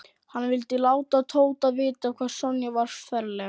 Hann vildi láta Tóta vita hvað Sonja var ferleg.